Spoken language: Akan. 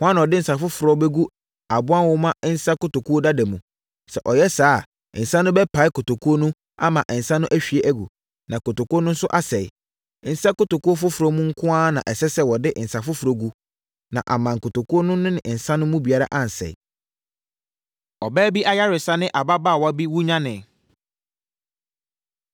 Hwan na ɔde nsã foforɔ bɛgu aboa nwoma nsã nkotokuo dada mu? Sɛ ɔyɛ saa a, nsã no bɛpae nkotokuo no ama nsã no ahwie agu, na nkotokuo no nso asɛe. Nsa nkotokuo foforɔ mu nko ara na ɛsɛ sɛ wɔde nsã foforɔ gugu na amma nkotokuo no ne nsã no mu biara ansɛe.” Ɔbaa Bi Ayaresa Ne Ababaawa Bi Wunyane